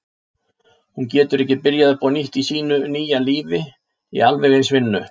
Hún getur ekki byrjað upp á nýtt í sínu nýja lífi í alveg eins vinnu.